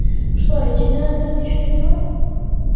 что лейтенант сердечные дела